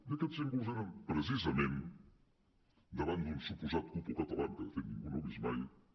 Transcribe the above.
i aquests símbols eren precisa·ment davant d’un suposat cupo catalán que de fet ningú no ha vist mai